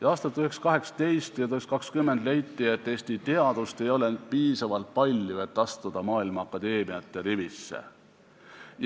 Aastatel 1918 ja 1920 leiti, et Eesti teadust ei ole piisavalt palju, et astuda maailma akadeemiate rivisse.